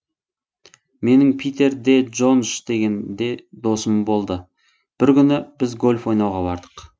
менің питер де джондж деген досым болды бір күні біз гольф ойнауға бардық